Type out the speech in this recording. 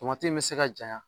Tomati in be se ka jaɲa